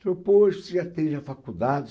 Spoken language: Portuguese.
Falou, poxa, você já tem a faculdade?